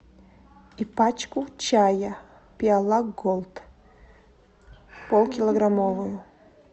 и пачку чая пиала голд полкилограммовую